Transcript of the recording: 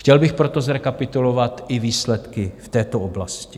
Chtěl bych proto zrekapitulovat i výsledky v této oblasti.